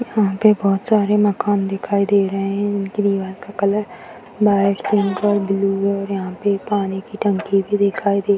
यहां पे बहुत सारे मकान दिखाई दे रहे है जिनकी दीवार का कलर व्हाइट पिंक और ब्लू है और यहां पे पानी की टंकी भी दिखाई दे रही है।